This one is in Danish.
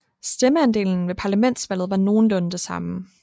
Stemmeandelen ved parlamentsvalget var nogenlunde det samme